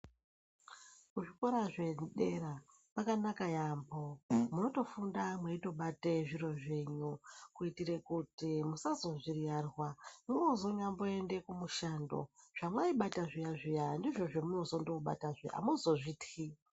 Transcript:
Zvikora zve dera kwanaka yambo munoto funda mweito bate zviro zvenyu kuitire kuti musazozvi riyarwa mwozo nyambo ende ku mushando zvamai bata zviya zviya ndizvo zvamuno zondo bata zve amuzozvityi.